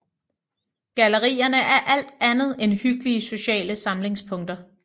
Gallerierne er alt andet end hyggelige sociale samlingspunkter